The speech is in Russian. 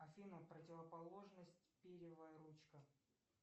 афина противоположность перьевая ручка